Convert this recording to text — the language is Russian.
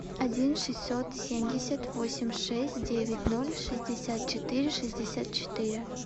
один шестьсот семьдесят восемь шесть девять ноль шестьдесят четыре шестьдесят четыре